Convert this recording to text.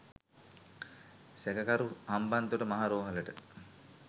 සැකකරු හම්බන්තොට මහ රෝහලට